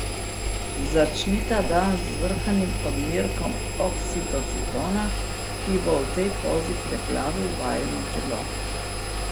Začnita dan z zvrhanim odmerkom oksitocina, ki bo v tej pozi preplavil vajino telo.